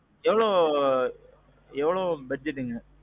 எவ்வளோ. எவ்வளோ budgetங்க?